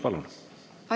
Palun!